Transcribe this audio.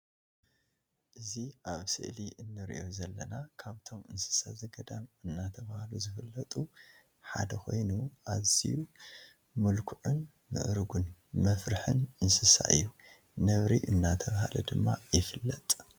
እዚ ኣብ ምሰሊ እንርእዮ ዘለና ካብቶም እንስሳ ዘገዳም እናተባህሉ ዝፍለጡ ሓደ ኮይኑ ኣዝዩ ምልኩዕን ምእርጉን መፍርሒን እንስሳ እዩ። ነብሪ እናተባህለ ድማ ይፍለጥ።